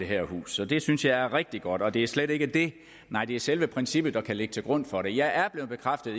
det her hus så det synes jeg er rigtig godt og det er slet ikke det nej det er selve princippet der kan ligge til grund for det jeg er blevet bekræftet